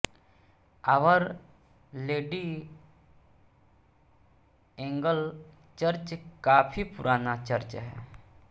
hour lady angel church काफी पुराना church है